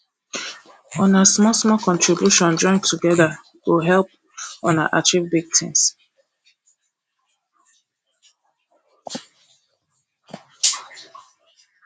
una small small contribution join togeda go help una achieve big tin